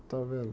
Está vendo?